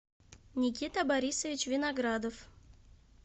никита борисович виноградов